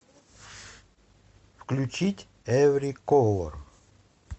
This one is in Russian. включить эври колор